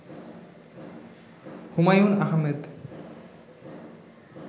Humayun Ahmed